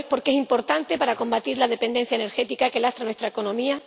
Lo es porque es importante para combatir la dependencia energética que lastra nuestra economía